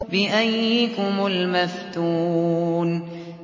بِأَييِّكُمُ الْمَفْتُونُ